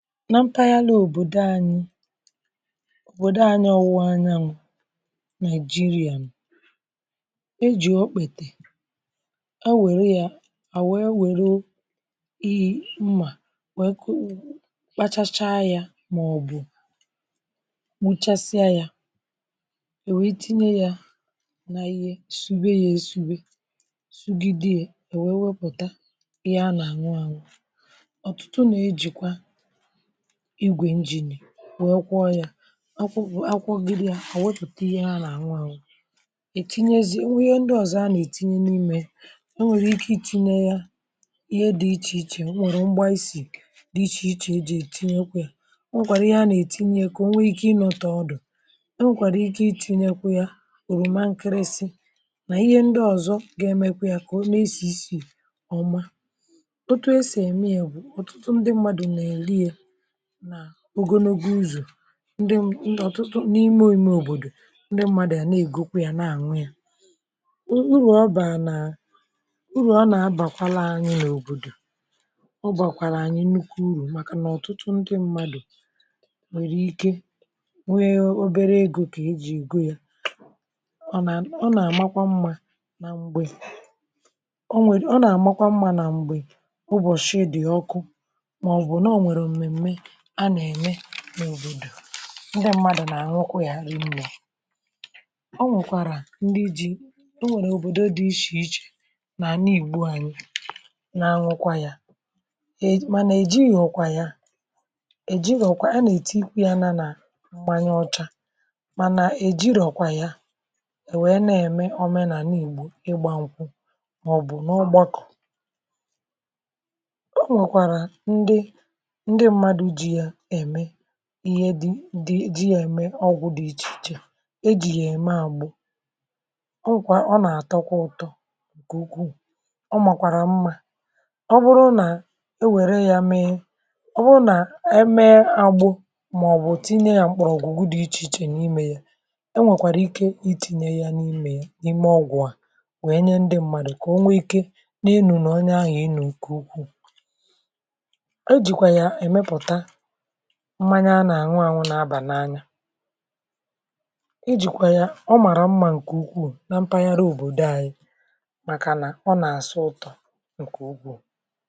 Na mkpa dị́ n’òbòdò anyị, um òbòdò anyị ọwụ̀, anyị ànwụrụ̀ nà Nigeria. A nà-ejì ọ kpètè, e wèrè ya, ha wee wèrè ihe mmà wee kọ, kpachachaa ya, maọbụ̀ nwụchasịa ya, è wèe tinye ya n’ihe sògbè ya, èsùgbè, sògìdì ya, è wèe wepụ̀ta ihe a nà-àṅụ àṅụ. Ọtụtụ nà ejìkwa wèe kwọ ya akwụkwọ, gịrị ya, àwepụ̀ta ihe.. Ha na-anwụ anwụ, etinyezie, nwee ndị ọzọ a na-etinye n’ime. E nwere ike itinye ya n’ihe dị iche iche, um nwere mgbà isi dị iche iche e ji etinyekwu ya. Ọ nwekwara ihe a nà-etinye ka o nwee ike ịnọ ọtọ ọdụ. Ọ nwekwara ike itinyekwu ya, o rùma nkịrịsị, na ihe ndị ọzọ ga-eme kà ọ na-esi isi ọma. Ọtụtụ e si eme ya bụ n’ụzọ ndị mmadụ na-eli ya na ogologo uzọ̀. Ndị, ndị̀, ọtụtụ n’ime òmùme òbòdò, um ndị mmadụ̀ ya na-ègokwu ya, na-ànwe ya. O uru ọ̀bà nà, uru ọ nà-abàkwala anyị n’òbòdò, o bàkwàrà anyị nnukwu uru, màkà nà ọ̀tụtụ ndị mmadụ̀ nwèrè ike nwee obere egò ké eji ígò ya... Ọ na um ọ nà-àmakwa mma na mgbè ọ nwèrè, ọ nà-àmakwa mma na mgbè ụbọ̀chị̀ dị̀ ọkụ. Ndị mmadụ̀ nà-àṅụkwa ya, ha rie mbuọ. Ọ nwekwàrà ndị ji, o nwèrè òbòdò dị iche iche nà àna ìgbu anyị nà anwụkwa ya è… Mànà ejirọ̀kwa ya, ejirọ̀kwa. A nà-èti ikwu̇ ya nà nà mmanya ọcha, mànà ejirọ̀kwa ya. È wèe na-ème òmenà nà Ànyị́gbò ịgbà nwụ̀, maọ̀bụ̀ n’ugbọkọ̀. Ihe dị, dị̀ um ihe dị ya eme ọgwụ dị iche iche e ji ya eme agbụ. Ọ nwekwàrà, ọ na-atọkwa ụtọ, ike ukwù. Ọ màkwara mma ọ bụrụ na e wèrè ya mee. Ọ bụrụ na eme agbụ, maọbụ̀ tinye ya n’ụgbọ̀ Ugwu dị iche iche n’ime ya, e nwekwara ike itinye ya n’ime ọgwụ. A wee nye ndị mmadụ ka o nwee ike na ahụ, n’onye ahụ,... enu ike ukwù. Mmanya a nà-àṅụ àṅụ nà-aba n’anya. Iji̇kwà ya, ọ màrà mma, nke ukwù, nà mpàgharị òbòdò ànyị̇, màkà nà ọ nà-àsụ ụtọ̀ nke ugwù.